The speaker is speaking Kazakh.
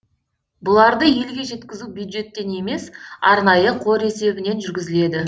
бұларды елге жеткізу бюджеттен емес арнайы қор есебінен жүргізіледі